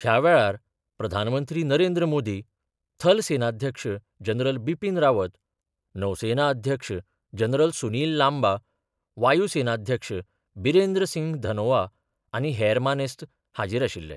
ह्या वेळार प्रधानमंत्री नरेंद्र मोदी, थल सेनाध्यक्ष जनरल बिपीन रावत, नौसेना अध्यक्ष जनरल सुनील लांबा, वायू सेनाध्यक्ष बिरेंद्र सिंह धनोआ आनी हेर मानेस्त हाजीर आशिल्ले.